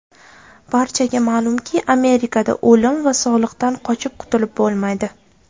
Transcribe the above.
Barchaga ma’lumki, Amerikada o‘lim va soliqdan qochib qutulib bo‘lmaydi.